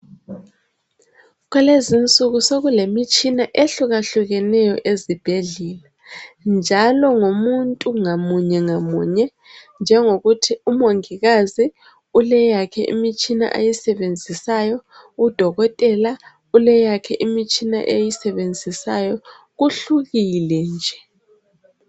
Kulezinsuku sokulemitshina ehlukahlukeneyo ezibhedlela njalo ngomuntu ngamunye ngamunye njengokuthi umongikazi uleyakhe imitshina ayisebenzisayo, udokotela uleyakhe imitshina ayisebenzisayo kuhlukile nje.